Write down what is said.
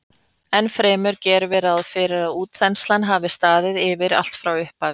Ennfremur gerum við ráð fyrir að útþenslan hafi staðið yfir allt frá upphafi.